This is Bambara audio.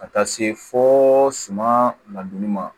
Ka taa se fo suman ladonni ma